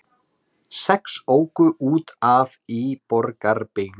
Sex óku út af í Borgarbyggð